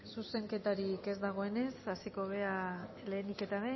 zuzenketari ez dagoenez hasiko gara lehenik eta